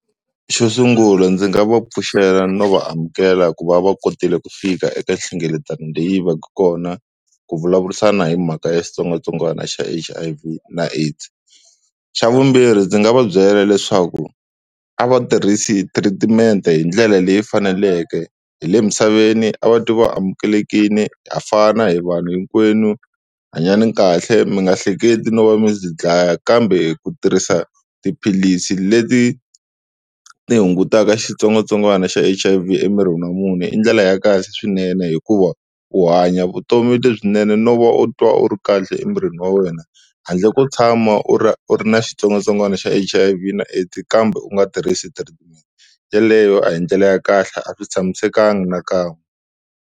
Xo sungula ndzi nga va pfuxela no vaamukela ku va va kotile ku fika eka nhlengeletano leyi va ka kona ku vulavurisana hi mhaka ya xitsongwatsongwana xa H_I_V na AIDS. Xa vumbirhi ndzi nga va byela leswaku a va tirhisi treatment hi ndlela leyi faneleke hi le misaveni a va twi vaamukelekile ha fana hi vanhu hinkwenu, hanyani kahle mi nga hleketi no va mi tidlaya, kambe ku tirhisa tiphilisi leti ti hungutaka xitsongwatsongwana xa H_I_V emirini wa munhu i ndlela ya kahle swinene hikuva u hanya vutomi lebyinene no va u twa u ri kahle emirini wa wena handle ko tshama u ri u ri na xitsongwatsongwana xa H_I_V na AIDS kambe u nga tirhisi treatment, yeleyo a hi ndlela ya kahle a swi tshamisekanga nakan'we.